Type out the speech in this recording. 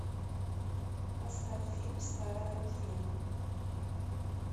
поставь фильм старое ружье